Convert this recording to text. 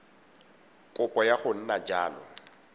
kopo ya go nna jalo